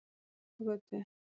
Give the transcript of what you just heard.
Drangagötu